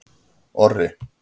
Orri